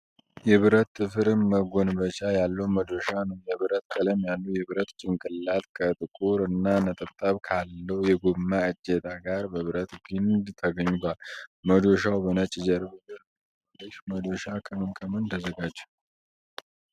የብረት ጥፍር መጎንበቻ ያለው መዶሻ ነው። የብር ቀለም ያለው የብረት ጭንቅላት ከጥቁር እና ነጠብጣብ ካለው የጎማ እጀታ ጋር በብረት ግንድ ተገናኝቷል። መዶሻው በነጭ ጀርባ ላይ ተቀምጧል። ይህ መዶሻ ከምን ከምን ተዘጋጀ?